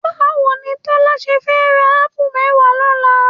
Báwo ni Tọ́lá ṣe fẹ́ ra ápù mẹ́wàá lọ́la?